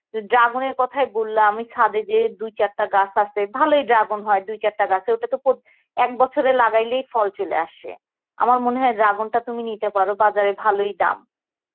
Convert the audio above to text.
dragon এর কতাই বললাম, আমি ছাদে যেয়ে দু ছাড়তে গাছ আসে ভালই dragon হয় দুই চারটা গাসে ওটা তো পদ~ এক বছর এ লাগাইলেই ফল চলে আসে, আমার মনে হই dragon টা তুমি নিতে পর বাজারর ভালই দাম